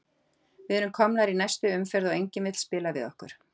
Við erum komnir í næstu umferð og enginn vill spila við okkur.